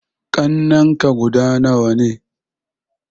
Ƙannenka guda nawa ne?